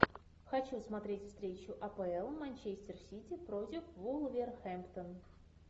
хочу смотреть встречу апл манчестер сити против вулверхэмптон